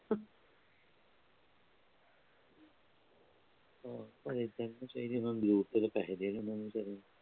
ਫੇਰ ਉਹਦਾ loan pending